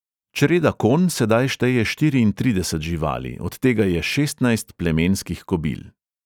Čreda konj sedaj šteje štiriintrideset živali, od tega je šestnajst plemenskih kobil.